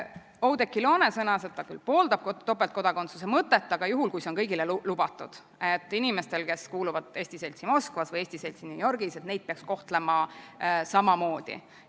Oudekki Loone sõnas, et ta küll pooldab topeltkodakondsuse mõtet, aga juhul, kui see on kõigile lubatud, et inimesi, kes kuuluvad eesti seltsi Moskvas või eesti seltsi New Yorgis, peaks kohtlema samamoodi.